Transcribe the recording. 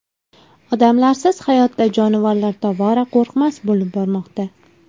Odamlarsiz hayotda jonivorlar tobora qo‘rqmas bo‘lib bormoqda.